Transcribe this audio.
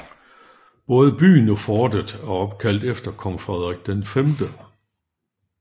Både byen og fortet er opkaldt efter kong Frederik 5